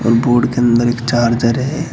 Board के अंदर एक चार्जर है।